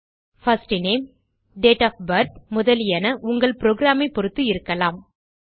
first name date of birth முதலியன உங்கள் programme ஐப் பொருத்து இருக்கலாம்